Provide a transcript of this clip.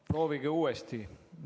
Proovige uuesti!